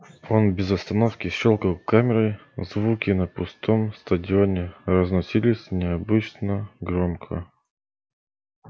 он без остановки щёлкал камерой звуки на пустом стадионе разносились необычно громко